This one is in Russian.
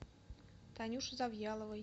танюши завьяловой